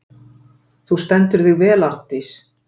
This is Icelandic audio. Þú stendur þig vel, Arndís!